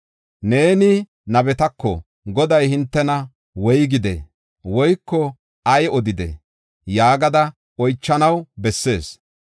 Neeni nabetako, ‘Goday hintena woygidee?’ woyko ‘Ay odidee?’ yaagada oychanaw bessees.